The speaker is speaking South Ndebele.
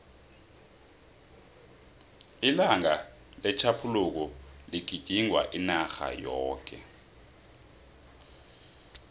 ilanga letjhaphuluko ligidingwa inarha yoke